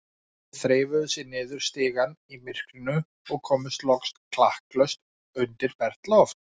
Þeir þreifuðu sig niður stigann í myrkrinu og komust loks klakklaust undir bert loft.